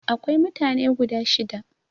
Akwai mutane guda shida.